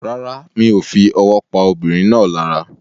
Rárá, mi o fi owó pa arábìnrin náà lára